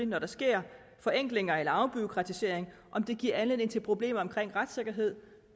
når der sker forenklinger eller afbureaukratisering giver anledning til problemer omkring retssikkerhed